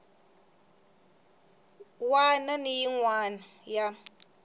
wana ni yin wana ya